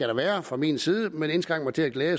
der være fra min side jeg vil indskrænke mig til at glæde